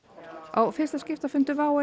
á fyrsta skiptafundi WOW